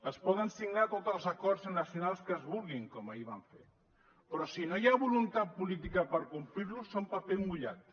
es poden signar tots els acords nacionals que es vulguin com ahir van fer però si no hi ha voluntat política per complir los són paper mullat